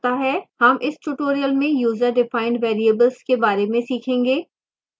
हम इस tutorial में userdefined variables के बारे में सीखेंगे